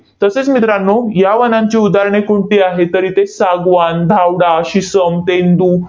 तसेच मित्रांनो, या वनांची उदाहरणे कोणती आहेत? तर इथे सागवान, धावडा, शिसम, तेंदू,